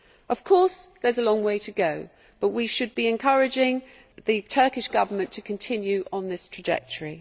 Of course there is a long way to go, but we should be encouraging the Turkish Government to continue on this trajectory.